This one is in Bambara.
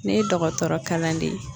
Ne ye dɔgɔtɔrɔ kalanden ye.